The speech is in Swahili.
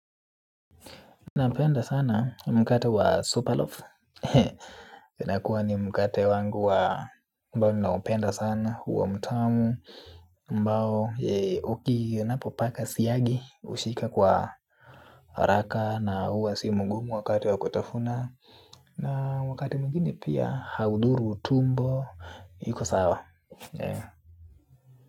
Napenda sana mkata wa superloaf inakuwa ni mkate wangu wa ambao ninaupenda sana huwa mtamu ambao uki napo paka siagi hushika kwa haraka na huwa si mngumu wakati wa kutafuna na wakati mwingine pia haudhuru utumbo iko sawa.